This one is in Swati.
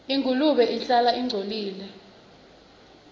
ingulube ihlala ingcolile